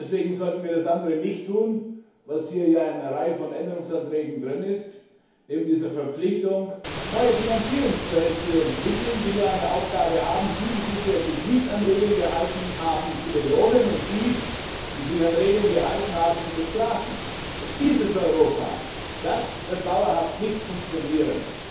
Deswegen sollten wir das andere nicht tun, was hier ja in einer Reihe von Änderungsanträgen enthalten ist, wir sollten neben dieser Verpflichtung keine neuen Finanzierungsquellen entwickeln, die nur eine Aufgabe haben diejenigen, die sich bisher nicht an Regeln gehalten haben, zu belohnen und diejenigen, die sich an Regeln gehalten haben, zu bestrafen. Dieses Europa wird dauerhaft nicht funktionieren!